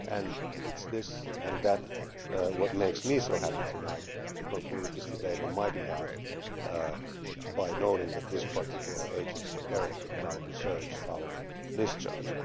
And it is that which makes me so happy tonight to conclude this debate on my behalf by noting that this particular agency, BEREC, now deserves our discharge.